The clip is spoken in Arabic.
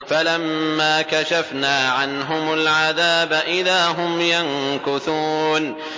فَلَمَّا كَشَفْنَا عَنْهُمُ الْعَذَابَ إِذَا هُمْ يَنكُثُونَ